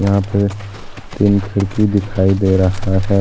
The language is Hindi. यहां पे तीन खिड़की दिखाई दे रहा है।